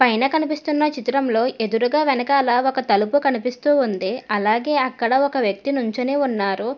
పైన కనిపిస్తున్న చిత్రంలో ఎదురుగా వెనకాల ఒక తలుపు కనిపిస్తూ ఉంది అలాగే అక్కడ ఒక వ్యక్తి నుంచొని ఉన్నారు.